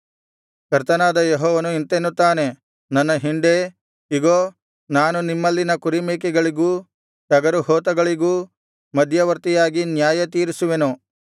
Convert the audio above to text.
ಕರ್ತನಾದ ಯೆಹೋವನು ಇಂತೆನ್ನುತ್ತಾನೆ ನನ್ನ ಹಿಂಡೇ ಇಗೋ ನಾನು ನಿಮ್ಮಲ್ಲಿನ ಕುರಿಮೇಕೆಗಳಿಗೂ ಟಗರುಹೋತಗಳಿಗೂ ಮಧ್ಯವರ್ತಿಯಾಗಿ ನ್ಯಾಯ ತೀರಿಸುವೆನು